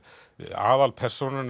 aðalpersónan